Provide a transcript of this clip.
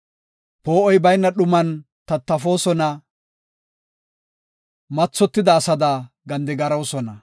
Poo7oy bayna dhuman tattafoosona; mathotida asada gandigaroosona.